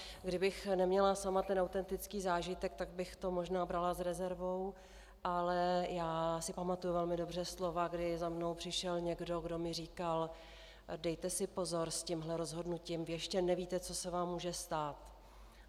Kdybych sama neměla ten autentický zážitek, tak bych to možná brala s rezervou, ale já si pamatuji velmi dobře slova, kdy za mnou přišel někdo, kdo mi říkal: Dejte si pozor s tímhle rozhodnutím, vy ještě nevíte, co se vám může stát.